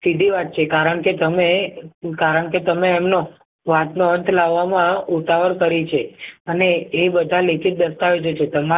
સીધી વાત છે કારણ કે તમે કારણ કે તમે એમનો વાતનો અંત લાવવામાં ઉતાવળ કરી છે અને એ બધા લેખિત દસ્તાવેજો છે તેમાં